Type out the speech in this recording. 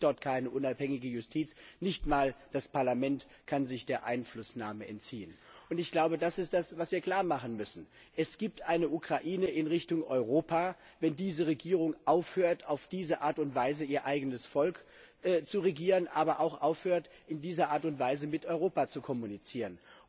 Es gibt dort keine unabhängige Justiz, nicht einmal das Parlament kann sich der Einflussnahme entziehen. Ich glaube, das ist das, was wir klarmachen müssen. Es gibt eine Ukraine in Richtung Europa, wenn diese Regierung aufhört, auf diese Art und Weise ihr eigenes Volk zu regieren, aber auch aufhört, in dieser Art und Weise mit Europa zu kommunizieren.